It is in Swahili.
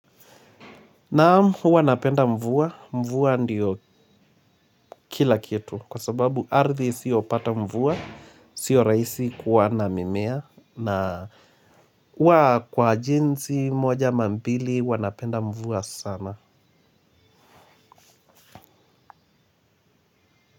Naam. Huwa napenda mvua, mvua ndiyo kila kitu kwa sababu ardhi isiyopata mvua, siyo raisi kuwa na mimea na huwa kwa jinsi moja ama mbili huwa napenda mvua sana.